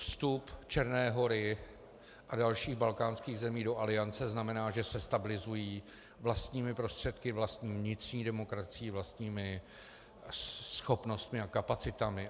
Vstup Černé Hory a dalších balkánských zemí do Aliance znamená, že se stabilizují vlastními prostředky, vlastní vnitřní demokracií, vlastními schopnostmi a kapacitami.